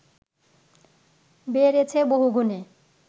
বেড়েছে বহুগুণে